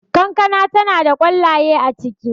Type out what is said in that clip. kankana tana da kwallaye a ciki